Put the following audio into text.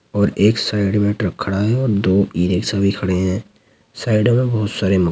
और एक साइड में ट्रक खड़ा है ओर दो ई रिक्शा भी खड़े हैं। साइड में बहोत सारे --